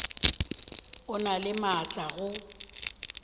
o na le maatla go